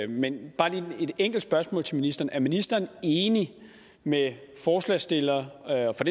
men bare lige et enkelt spørgsmål til ministeren er ministeren enig med forslagsstilleren og for